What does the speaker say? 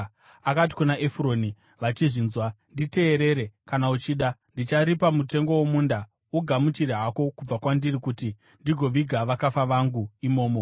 akati kuna Efuroni vachizvinzwa, “Nditeerere, kana uchida. Ndicharipa mutengo womunda. Ugamuchire hako kubva kwandiri kuti ndigoviga vakafa vangu imomo.”